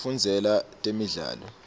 kufundzela temidlalo